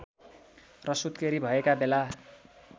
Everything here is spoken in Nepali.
र सुत्केरी भएका बेला